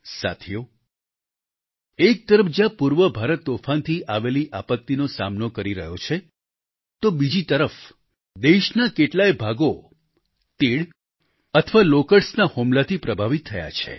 સાથીઓ એક તરફ જ્યાં પૂર્વ ભારત તોફાનથી આવેલી આપત્તિનો સામનો કરી રહ્યો છે તો બીજી તરફ દેશના કેટલાય ભાગો તીડ અથવા લોકસ્ટ્સ ના હુમલાથી પ્રભાવિત થયા છે